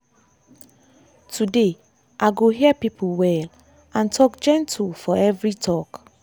today i go hear people well and talk gentle for every talk.